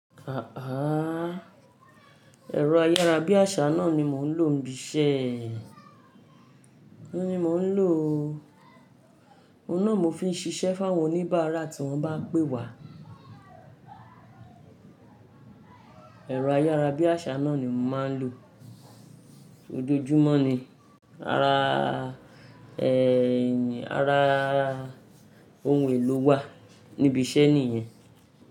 Àh! Ẹ̀rọ ayára bí àsá náà ni mò ń lò níbí iṣẹ́. Ó ní mò ń lò o. Ó náà mò fi ń ṣiṣẹ́ fáwọn oníbàárà tí wọ́n pá pé wá. Ẹ̀rọ ayára bí àsá náà ni mò máa ń lò. Odojúmọ́ ni, ara ẹ́, ara ohun èlò wà níbi iṣẹ́ nìyẹn.